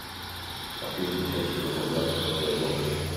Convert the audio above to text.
последняя часть сезона два кровавая гонка